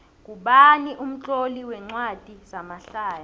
ngubani umtloli wencwadi zamahlaya